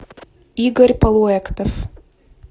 игорь полуэктов